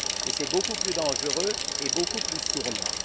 C'est beaucoup plus dangereux et beaucoup plus sournois.